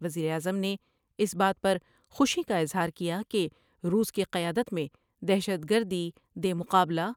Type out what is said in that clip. وزیراعظم نے اس بات پر خوشی کا اظہار کیا کہ روس کی قیادت میں دہشت گردی دے مقابلہ